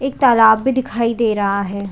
एक तालाब भी दिखाई दे रहा हैं ।